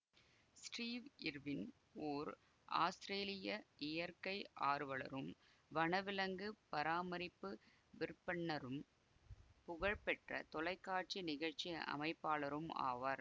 Steve Irwin ஓர் ஆஸ்திரேலிய இயற்கை ஆர்வலரும் வனவிலங்கு பராமரிப்பு விற்பன்னரும் புகழ் பெற்ற தொலைக்காட்சி நிகழ்ச்சி அமைப்பாளரும் ஆவார்